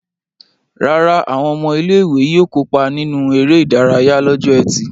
Rárá, àwọn ọmọ ilé-ìwé yóò kópa nínú eré-idárayá lọ́jọ́ ẹtì.